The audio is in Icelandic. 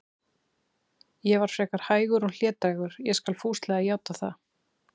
Ég var frekar hægur og hlédrægur, ég skal fúslega játa það.